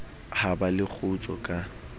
ha ba le kgutso ka